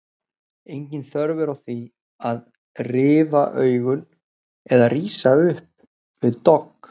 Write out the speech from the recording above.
Engin þörf er á því að rifa augun eða rísa upp við dogg.